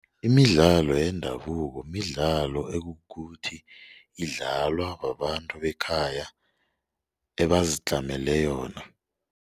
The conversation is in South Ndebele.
Imidlalo yendabuko midlalo ekukuthi idlalwa babantu bekhaya ebazitlamele yona.